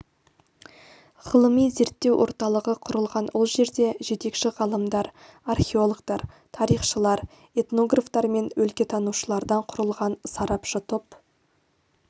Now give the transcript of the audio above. ғылыми-зерттеу орталығы құрылған ол жерде жетекші ғалымдар археологтар тарихшылар этнографтар мен өлкетанушылардан құрылған сарапшы топ